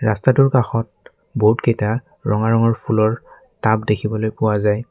ৰাস্তাটোৰ কাষত বহুতকেইটা ৰঙা ৰঙৰ ফুলৰ টাব দেখিবলৈ পোৱা যায়।